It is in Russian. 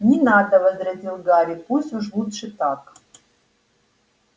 не надо возразил гарри пусть уж лучше так